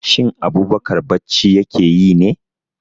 Shin Abubakar bacci ya ke yi ne?